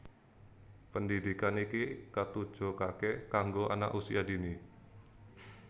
Pendhidhikan iki katujokake kanggo Anak Usia Dini